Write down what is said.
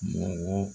Mɔgɔ